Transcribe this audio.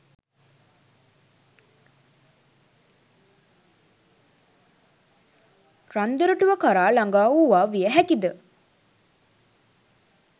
රන් දොරටුව කරා ළඟා වූවා විය හැකි ද